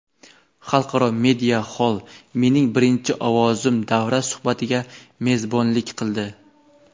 Xalqaro media xoll "Mening birinchi ovozim" davra suhbatiga mezbonlik qildi.